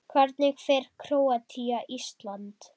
Hvernig fer Króatía- Ísland?